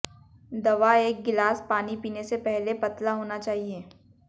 दवा एक गिलास पानी पीने से पहले पतला होना चाहिए